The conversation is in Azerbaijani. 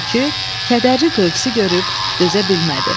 Tülkü kədərli qövsü görüb dözə bilmədi.